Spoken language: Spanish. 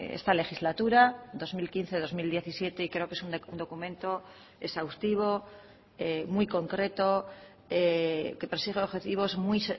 esta legislatura dos mil quince dos mil diecisiete y creo que es un documento exhaustivo muy concreto que persigue objetivos muy